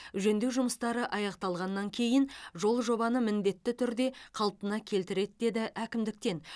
жөндеу жұмыстары аяқталғаннан кейін жол жабыны міндетті түрде қалпына келтіріледі деді әкімдіктен